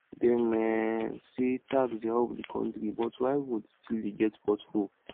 dem um say tax dey help the country but why road still dey get pothole